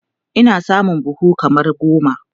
Ina samun buhu kaman goma